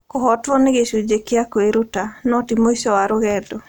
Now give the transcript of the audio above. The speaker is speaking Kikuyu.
Kũhootwo nĩ gĩcunjĩ kĩa kwĩruta, no ti mũico wa rũgendo.